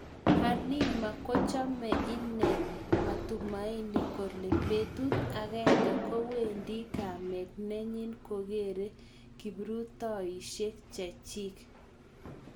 Halima kochome ing matumaini kole betut agenge kowendi kamet nenyi koker kaprurtoishek chechik.